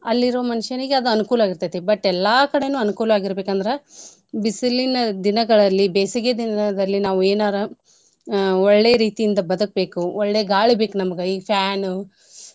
ಅಲ್ಲಿರೋ ಮನಷನಿಗೆ ಅದು ಅನುಕೂಲ ಆಗಿರ್ತೈತಿ. But ಎಲ್ಲಾ ಕಡೇನೂ ಅನ್ಕೂಲ ಆಗೀರ್ಬೇಕಂದ್ರ ಬಿಸಿಲಿನ ದಿನಗಳಲ್ಲಿ ಬೇಸಿಗೆ ದಿನದಲ್ಲಿ ನಾವು ಎನಾರ ಅ ಒಳ್ಳೇ ರೀತಿಯಿಂದ ಬದ್ಕಬೇಕು ಒಳ್ಳೇ ಗಾಳಿ ಬೇಕು ನಮ್ಗ ಈ fan .